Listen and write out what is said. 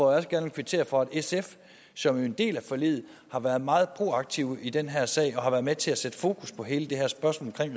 også gerne kvittere for at sf som er en del af forliget har været meget proaktiv i den her sag og har været med til at sætte fokus på hele det her spørgsmål